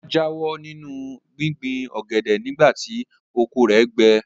Ọlá jáwọ́ nínú gbíngbin ọ̀gẹ̀dẹ̀ nìgbà tí oko rẹ̀ gbẹ.